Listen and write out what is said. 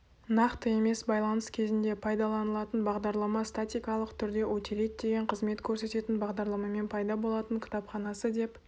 нақты емес байланыс кезінде пайдаланылатын бағдарлама статикалық түрде утилит деген қызмет көрсететін бағдарламамен пайда болатын кітапханасы деп